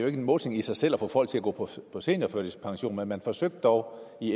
er en målsætning i sig selv at få folk til at gå på seniorførtidspension men man forsøgte dog i